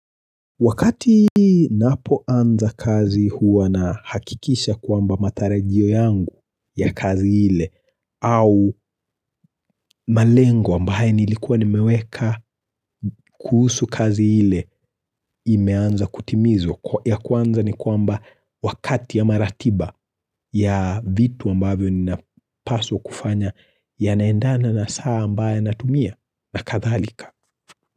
Wakati napoanza kazi huwa na hakikisha kwamba matarajio yangu ya kazi ile au malengo ambaye nilikuwa nimeweka kuhusu kazi ile imeanza kutimizwa ya kwanza ni kwamba wakati ama maratiba ya vitu ambayo ninapaswa kufanya yanaendana na saa ambaye natumia na kadhalika.